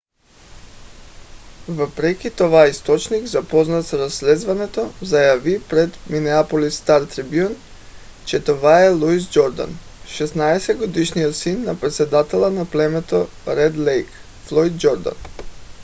въпреки това източник запознат с разследването заяви пред минеаполис стар трибюн че това е луис джордан 16-годишният син на председателя на племето ред лейк - флойд джордан